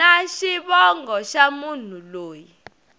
na xivongo xa munhu loyi